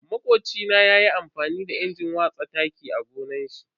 Makocina ya yi amfani da injin watsa taki a gonan shi.